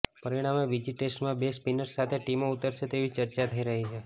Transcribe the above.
પરિણામે બીજી ટેસ્ટમાં બે સ્પિનર્સ સાથે ટીમો ઉતરશે તેવી ચર્ચા થઈ રહી છે